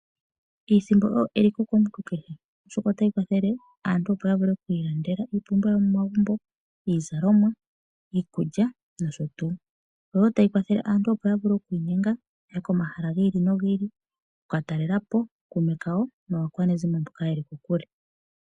Iisimpo oyo eliko komuntu kehe, oshoka otayi kwathele aantu opo ya vule oku ilandela iipumbiwa yomomagumbo, iizalomwa, iikulya nosho tuu. Oyo wo tayi kwathele aantu opo ya vule oku inyenga ya ye komahala gi ii nogi ili oku ka talela po ookuume kawo naakwanezimo mboka ye li kokule.